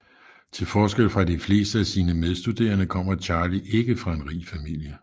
Til forskel fra de fleste af sine medstuderende kommer Charlie ikke fra en rig familie